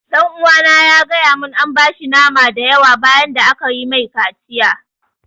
Ɗan uwana ya gaya mun an bashi nama da yawa bayan da aka yi mai kaciya